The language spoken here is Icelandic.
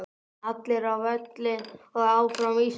Allir á völlinn og Áfram Ísland.